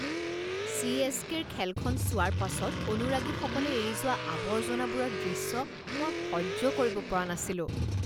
চি.এছ.কে.ৰ খেলখন চোৱাৰ পাছত অনুৰাগীসকলে এৰি যোৱা আৱৰ্জনাবোৰৰ দৃশ্য মই সহ্য কৰিব পৰা নাছিলোঁ।